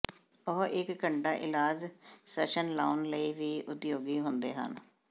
ਉਹ ਇੱਕ ਘੰਟਾ ਇਲਾਜ ਸੈਸ਼ਨ ਲਾਉਣ ਲਈ ਵੀ ਉਪਯੋਗੀ ਹੁੰਦੇ ਹਨ